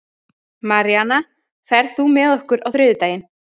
Maríana, ferð þú með okkur á þriðjudaginn?